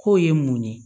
K'o ye mun ye